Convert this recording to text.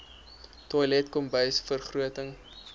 toilet kombuis vergroting